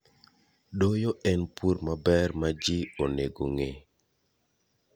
Doyo en pur maber ma ji onegong'ee.